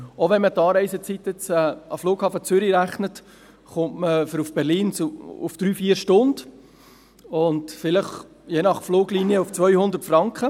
Auch wenn man die Anreisezeit an den Flughafen Zürich einrechnet, kommt man für Berlin auf eine Reisezeit von 3 bis 4 Stunden und – je nach Fluglinie – auf vielleicht 200 Franken.